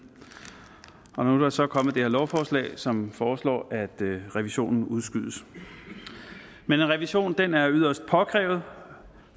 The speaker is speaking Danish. nu er der så kommet det her lovforslag som foreslår at revisionen udskydes men revisionen er yderst påkrævet